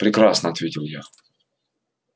прекрасно ответил я